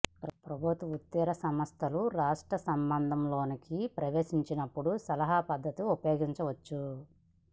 ప్రభుత్వేతర సంస్థలు రాష్ట్ర సంబంధం లోకి ప్రవేశించినప్పుడు సలహా పద్ధతి ఉపయోగించవచ్చు